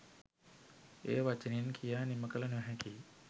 එය වචනයෙන් කියා නිමකළ නොහැකියි.